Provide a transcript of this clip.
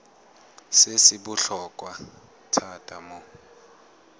se se botlhokwa thata mo